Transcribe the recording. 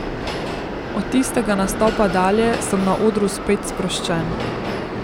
Od tistega nastopa dalje sem na odru spet sproščen.